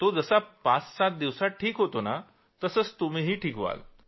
तो जसा पाच सात दिवसात ठीक होतो तसंच तुम्हीही व्हाल